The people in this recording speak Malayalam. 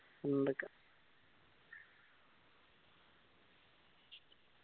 ഉണ്ടക്ക